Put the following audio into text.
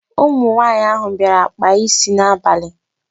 Ụmụ nwaanyị ahụ bịara kpaa isi n'abalị.